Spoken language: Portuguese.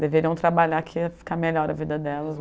Deveriam trabalhar que ia ficar melhor a vida delas.